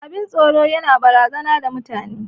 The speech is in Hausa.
Abin tsoro yana razanar da mutane.